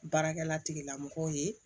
Baarakɛla tigilamɔgɔw ye